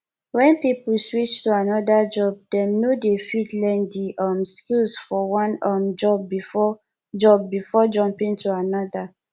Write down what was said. when person switch to anoda job dem no de fit learn di um skills for one um job before job before jumping to another